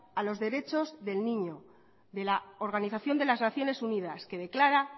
a los derechos del niño de la organización de las naciones unidas que declara